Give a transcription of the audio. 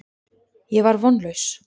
Ég var vonlaus.